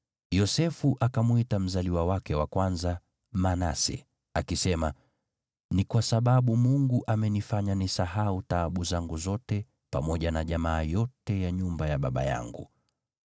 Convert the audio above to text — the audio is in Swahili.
Yosefu akamwita mzaliwa wake wa kwanza Manase, akisema, “Ni kwa sababu Mungu amenifanya nisahau taabu zangu zote pamoja na jamaa yote ya nyumba ya baba yangu.”